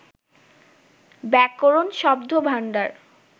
ব্যাকরণ, শব্দভাণ্ডার